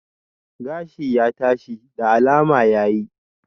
Gashi ya tashi, da alama ya yi